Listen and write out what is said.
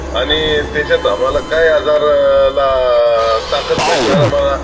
आणि त्याच्यात आम्हाला काय आजारला अं ताकद भेटणार आम्हांला?